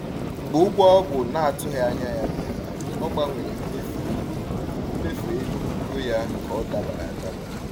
Mgbe ụgwọ ọgwụ na-atụghị anya ya bịara, ọ gbanwere mmefu ego mmefu ego ya ka ọ dabara adaba.